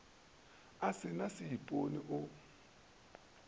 o se na seipone o